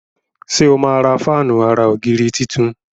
ṣe o má rà Fáànù àrà ògiri títún?